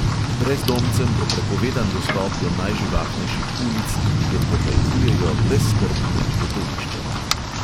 Brezdomcem bo prepovedan dostop do najživahnejših ulic, kjer pohajkujejo brezskrbni letoviščarji.